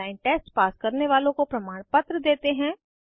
online test pass करने वालोँ को प्रमाणपत्र देते हैं